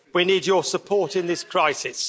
We need your support in this crisis.